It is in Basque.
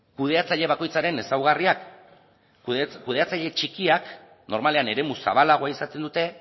kudeatzaile bakoitzaren ezaugarriak kudeatzaile txikiak normalean eremu zabalagoa izaten dute